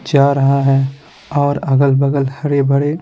जा रहा है और अगल-बगल हरे भरे--